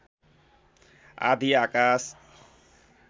आधी आकाश